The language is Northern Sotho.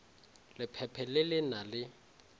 lephephe le le na le